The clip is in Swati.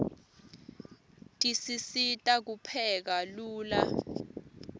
tisisita kupheka lula